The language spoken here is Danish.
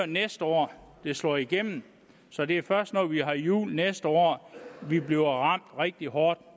næste år det slår igennem så det er først når vi har jul næste år vi bliver ramt rigtig hårdt